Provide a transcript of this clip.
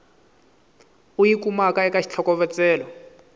u yi kumaka eka xitlhokovetselo